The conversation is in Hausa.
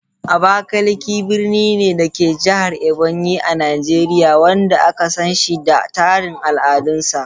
Abakalaki birni ne, da ke a Jihar Ebonyi, a Nijeriya, wanda aka san shi da tarin al’adunsa.